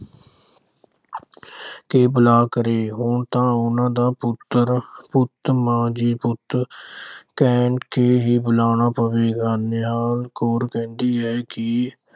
ਕੇ ਬੁਲਾਇਆ ਕਰੇ। ਹੁਣ ਤਾਂ ਉਨ੍ਹਾਂ ਦਾ ਪੁੱਤਰ, ਪੁੱਤ ਮਾਂ ਜੀ ਪੁੱਤ ਕਹਿ ਕੇ ਹੀ ਬੁਲਾਉਣਾ ਪਵੇਗਾ। ਨਿਹਾਲ ਕੌਰ ਕਹਿੰਦੀ ਹੈ ਕਿ